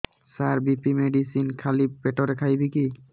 ସାର BP medicine ଖାଲି ପେଟରେ ଖାଇବି କି